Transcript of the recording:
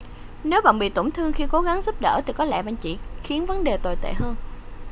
nếu bạn bị tổn thương khi cố gắng giúp đỡ thì có lẽ bạn chỉ khiến vấn đề tồi tệ hơn